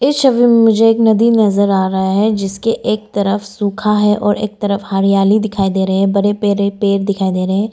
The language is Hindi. इस छवि में मुझे एक नदी नजर आ रहा है जिसके एक तरफ सूखा है और एक तरफ हरियाली दिखाई दे रहे हैं बड़े बड़े पेड़ दिखाई दे रहे हैं।